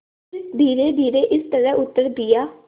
फिर धीरेधीरे इस तरह उत्तर दिया